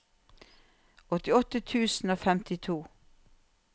åtti tusen og femtito